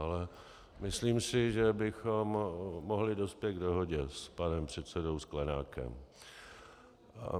Ale myslím si, že bychom mohli dospět k dohodě s panem předsedou Sklenákem.